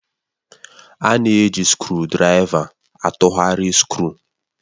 A na-eji skrụdiraiva atụgharị skru